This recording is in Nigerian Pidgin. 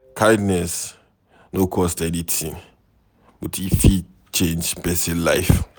Kindness no cost anything, but e fit change person life.